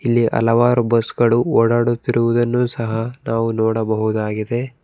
ಇಲ್ಲಿ ಹಲವಾರು ಬಸ್ ಗಳು ಓಡಾಡುತ್ತಿರುವುದನ್ನು ಸಹ ನಾವು ನೋಡಬಹುದಾಗಿದೆ.